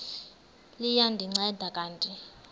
liya ndinceda kanti